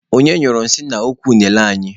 Onye nyụrụ nsị n'ukwu unene anyị?